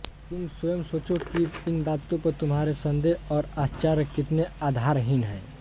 तुम स्वयं सोचो कि इन बातों पर तुम्हारे सन्देह और आश्चर्य कितने आधारहीन हैं